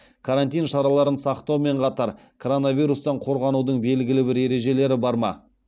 карантин шараларын сақтаумен қатар коронавирустан қорғанудың белгілі бір ережелері бар ма